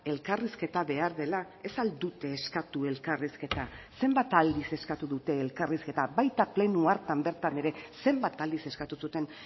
elkarrizketa behar dela ez ahal dute eskatu elkarrizketa zenbat aldiz eskatu dute elkarrizketa baita pleno hartan bertan ere zenbat aldiz eskatu zuten